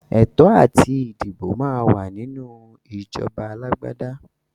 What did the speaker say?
Ẹ̀tọ́ àti dìbò máa wà nínú ìjọba alágbádá.